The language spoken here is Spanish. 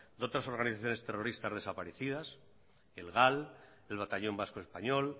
de otras organizaciones terroristas desaparecidas el gal el batallón vasco español